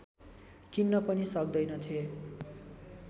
किन्न पनि सक्दैनथे